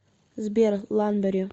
сбер ланбери